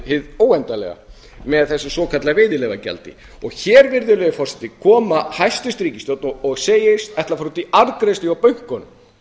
hið óendanlega með þess svokallaða veiðileyfagjaldi hér kemur hæstvirt ríkisstjórn og segist ætla að fara út í